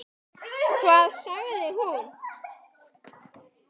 LÁRUS: Hvað sagði hún?